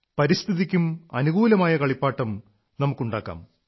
പരിസ്ഥിതിക്കും അനുകൂലമായ കളിപ്പാട്ടം നമുക്കുണ്ടാക്കാം